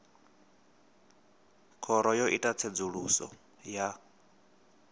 khoro yo ita tsedzuluso ya